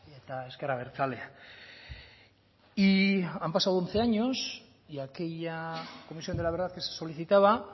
eta ezker abertzalea y han pasado once años y aquella comisión de la verdad que se solicitaba